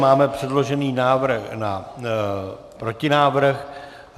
Máme předložený návrh na protinávrh.